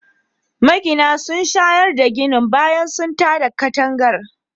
Magina sun shayar da ginin bayan sun tada katangar